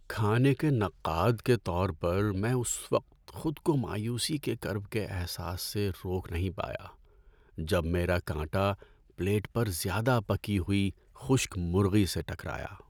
کھانے کے نقاد کے طور پر، میں اس وقت خود کو مایوسی کے کرب کے احساس سے روک نہیں پایا جب میرا کانٹا پلیٹ پر زیادہ پکی ہوئی خشک مرغی سے ٹکرایا۔